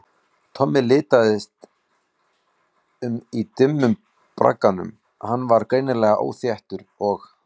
Tommi litaðist um í dimmum bragganum, hann var greinilega óþéttur og